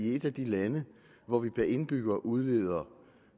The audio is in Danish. et af de lande hvor vi per indbygger udleder